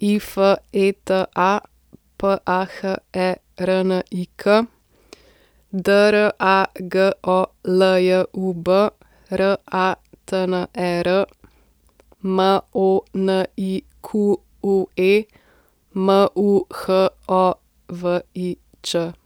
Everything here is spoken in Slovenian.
Ifeta Pahernik, Dragoljub Ratner, Monique Muhovič.